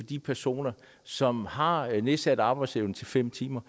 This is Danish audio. de personer som har nedsat arbejdsevne til fem timer